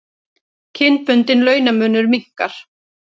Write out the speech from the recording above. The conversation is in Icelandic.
Kynbundinn launamunur minnkar